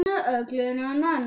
önnur fylgir gáta